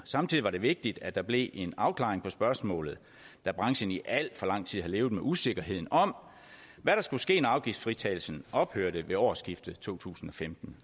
samtidig var det vigtigt at der blev en afklaring på spørgsmålet da branchen i al for lang tid har levet med usikkerheden om hvad der skulle ske når afgiftsfritagelsen ophørte ved årsskiftet to tusind